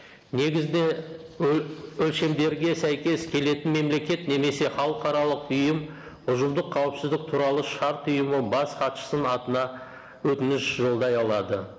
негізде өлшемдерге сәйкес келетін мемлекет немесе халықаралық ұйым ұжымдық қауіпсіздік туралы шарт ұйымы бас хатшысының атына өтініш жолдай алады